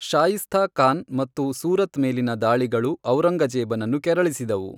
ಶಾಯಿಸ್ತಾ ಖಾನ್ ಮತ್ತು ಸೂರತ್ ಮೇಲಿನ ದಾಳಿಗಳು ಔರಂಗಜೇಬನನ್ನು ಕೆರಳಿಸಿದವು.